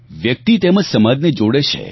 વ્યક્તિ તેમજ સમાજને જોડે છે